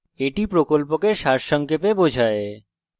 এটি কথ্য tutorial প্রকল্পকে সারসংক্ষেপে বোঝায়